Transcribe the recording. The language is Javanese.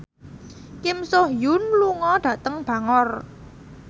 Kim So Hyun lunga dhateng Bangor